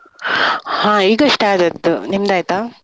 ಹಾ ಈಗಷ್ಟೇ ಆದದ್ದು, ನಿಮ್ದ್ ಆಯ್ತಾ?